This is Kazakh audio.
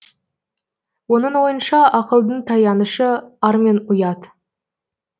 оның ойынша ақылдың таянышы ар мен ұят